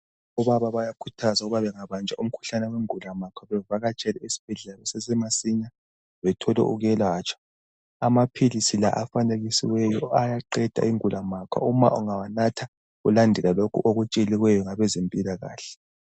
Obaba bayakhuthazwa ukuba bengabajwa umkhuhlane wengulamakha bevakatshele esibhedlela kusasemasinya bethole ukwelatshwa amaphilisi la afanekisiweyo ayaqeda ingulamakha uma ungawanatha ungalandela okutsheliweyo ngabezempilakahle